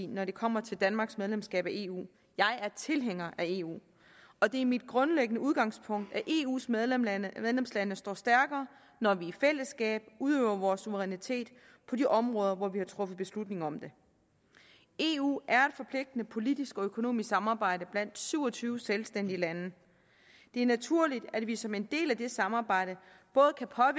når det kommer til danmarks medlemskab af eu jeg er tilhænger af eu og det er mit grundlæggende udgangspunkt at eus medlemslande medlemslande står stærkere når vi i fællesskab udøver vores suverænitet på de områder hvor vi har truffet beslutning om det eu er forpligtende politisk og økonomisk samarbejde blandt syv og tyve selvstændige lande det er naturligt at vi som en del af det samarbejde